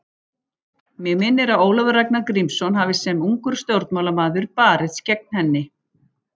Mig minnir að Ólafur Ragnar Grímsson hafi sem ungur stjórnmálamaður barist gegn henni.